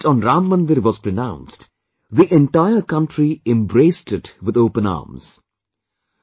When the verdict on Ram Mandir was pronounced, the entire country embraced it with open arms